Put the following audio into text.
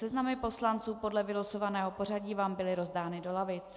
Seznamy poslanců podle vylosovaného pořadí vám byly rozdány do lavic.